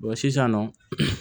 sisan nɔ